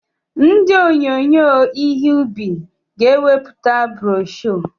Ndị onyinye ihe ubi ga-eweputa broshuọ.